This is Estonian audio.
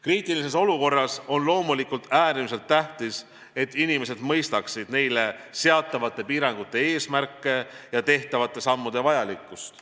Kriitilises olukorras on loomulikult äärmiselt tähtis, et inimesed mõistaksid neile seatavate piirangute eesmärke ja tehtavate sammude vajalikkust.